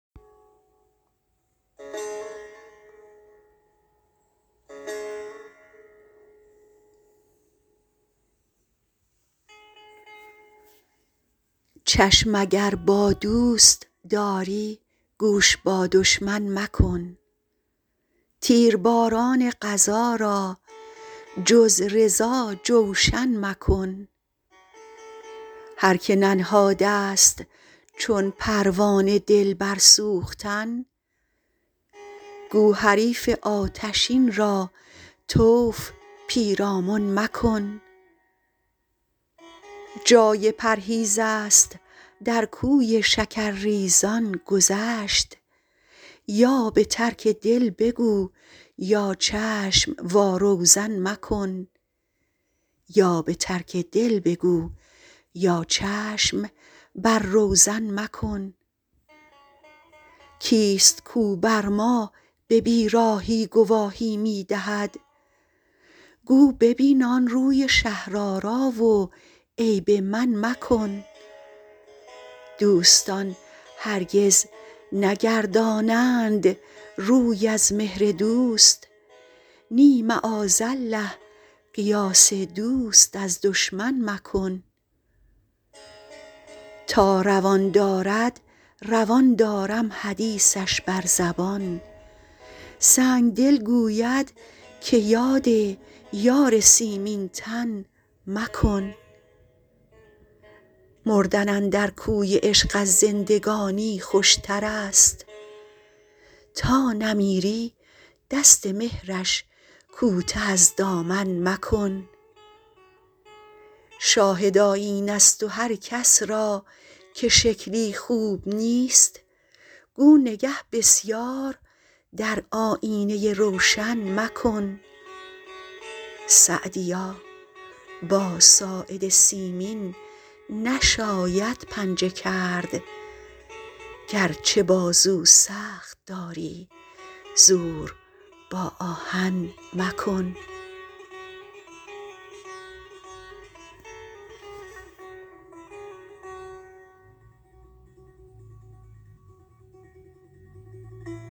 چشم اگر با دوست داری گوش با دشمن مکن تیرباران قضا را جز رضا جوشن مکن هر که ننهاده ست چون پروانه دل بر سوختن گو حریف آتشین را طوف پیرامن مکن جای پرهیز است در کوی شکرریزان گذشت یا به ترک دل بگو یا چشم وا روزن مکن کیست کاو بر ما به بیراهی گواهی می دهد گو ببین آن روی شهرآرا و عیب من مکن دوستان هرگز نگردانند روی از مهر دوست نی معاذالله قیاس دوست از دشمن مکن تا روان دارد روان دارم حدیثش بر زبان سنگدل گوید که یاد یار سیمین تن مکن مردن اندر کوی عشق از زندگانی خوشتر است تا نمیری دست مهرش کوته از دامن مکن شاهد آیینه ست و هر کس را که شکلی خوب نیست گو نگه بسیار در آیینه روشن مکن سعدیا با ساعد سیمین نشاید پنجه کرد گرچه بازو سخت داری زور با آهن مکن